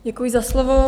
Děkuji za slovo.